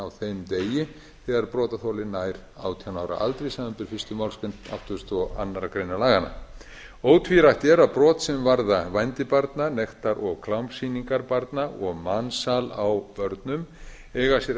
á þeim degi gera brotaþoli nær átján ára aldri samanber fyrstu málsgreinar áttugustu og aðra grein laganna ótvírætt er að brot sem varða vændi barna nektar og klámsýningar barna og mansal á börnum eiga sér